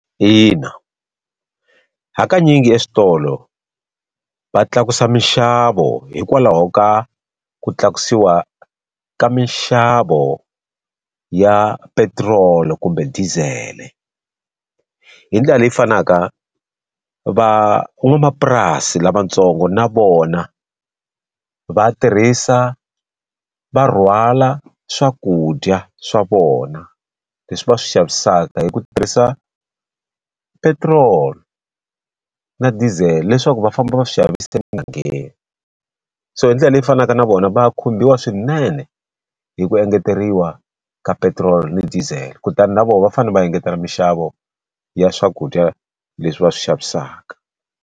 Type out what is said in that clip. Ina, hakanyingi eswitolo va tlakusa minxavo hikwalaho ka ku tlakusiwa ka minxavo ya petiroli kumbe dizele. Hi ndlela leyi fanaka van'wamapurasi lavatsongo na vona va tirhisa va rhwala swakudya swa vona leswi va swi xavisaka hi ku tirhisa petrol na dizele, leswaku va famba va swi xavisa emugangeni. So hi ndlela leyi fanaka na vona va ya khumbiwa swinene hi ku engeteriwa ka petrol ni diesel, kutani na vona va fanele va engetela minxavo ya swakudya leswi va swi xavisaka.